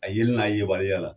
A yeli n'a yebaliya la